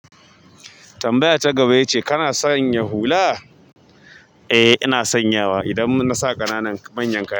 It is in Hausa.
Tambaya ta gaba ya ce kana sanya hula? Eh ina sanyawa idan nasa ƙananan manyan kaya.